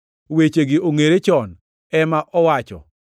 wechegi ongʼere chon, ema owacho.